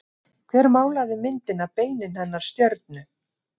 Hver málaði myndina Beinin hennar stjörnu?